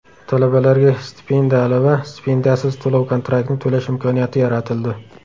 Talabalarga stipendiyali va stipendiyasiz to‘lov-kontraktni to‘lash imkoniyati yaratildi .